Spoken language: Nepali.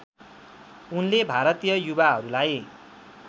उनले भारतीय युवाहरूलाई